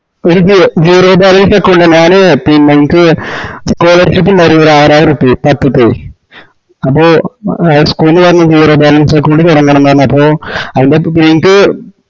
ഒര് zero balance account ആ ഞാന് പിന്ന എൻക് scholarship ഒര് ആറായിരുർപ്പേയ് മക്കക്കെ അപ്പൊ എ school ന്ന് പറഞ്ഞ് zero balance account തൊടങ്ങാണെന്ന്പറഞ്ഞ് അപ്പോ അയിൻടെ എൻക്ക്